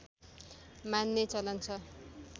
मान्ने चलन छ